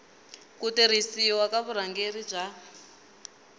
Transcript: ku tirhisiwa ka vurhangeri bya